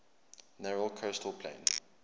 narrow coastal plain